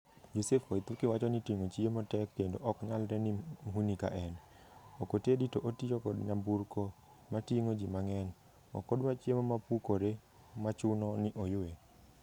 Joseph Waithuki wacho ni tingo chiemo tek kendo oknyalre ne mhuni ka en. Okotedi to otio kod nyamburko ma tingo jii mangeny. Okodwa chiemo mapukore machune ni oywe.